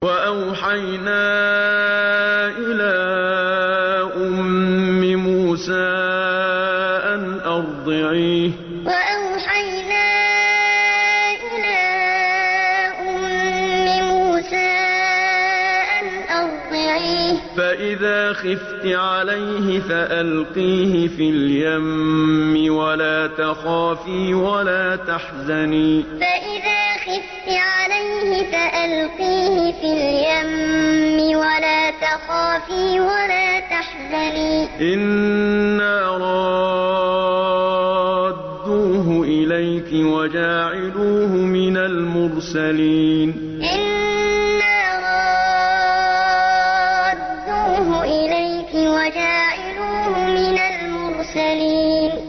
وَأَوْحَيْنَا إِلَىٰ أُمِّ مُوسَىٰ أَنْ أَرْضِعِيهِ ۖ فَإِذَا خِفْتِ عَلَيْهِ فَأَلْقِيهِ فِي الْيَمِّ وَلَا تَخَافِي وَلَا تَحْزَنِي ۖ إِنَّا رَادُّوهُ إِلَيْكِ وَجَاعِلُوهُ مِنَ الْمُرْسَلِينَ وَأَوْحَيْنَا إِلَىٰ أُمِّ مُوسَىٰ أَنْ أَرْضِعِيهِ ۖ فَإِذَا خِفْتِ عَلَيْهِ فَأَلْقِيهِ فِي الْيَمِّ وَلَا تَخَافِي وَلَا تَحْزَنِي ۖ إِنَّا رَادُّوهُ إِلَيْكِ وَجَاعِلُوهُ مِنَ الْمُرْسَلِينَ